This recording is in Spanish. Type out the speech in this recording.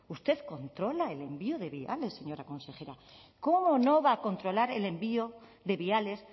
usted controla el envío de viales señora consejera cómo no va a controlar el envío de viales